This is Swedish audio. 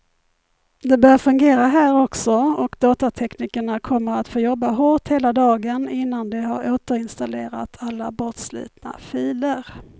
Det bör fungera här också, och datateknikerna kommer att få jobba hårt hela dagen innan de har återinstallerat alla bortslitna filer.